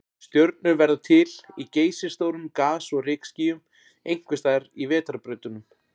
Stjörnur verða til í geysistórum gas- og rykskýjum, einhvers staðar í vetrarbrautunum.